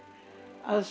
af